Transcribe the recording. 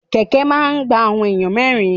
Kẹ̀kẹ́ máa ni gba awọn ènìyàn mẹrin.